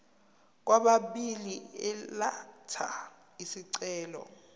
kwababili elatha isicelo